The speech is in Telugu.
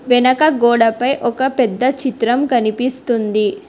వెనక గోడపై ఒక పెద్ద చిత్రం కనిపిస్తుంది.